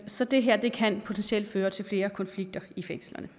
så det her kan potentielt føre til flere konflikter i fængslerne